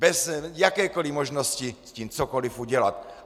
Bez jakékoli možnosti s tím cokoliv udělat.